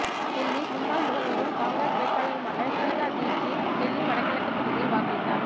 டெல்லி முன்னாள் முதல்வரும் காங்கிரஸ் வேட்பாளருமான ஷீலா தீட்சித் டெல்லி வடகிழக்கு தொகுதியில் வாக்களித்தார்